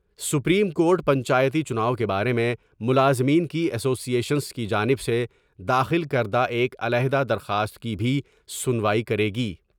Supreme court پنچایتی چناؤ کے بارے میں ملازمین کی اسوی ایشنس کی جانب سے داخل کر دا ایک علیحدہ درخواست کی بھی سنوائی کرے گی ۔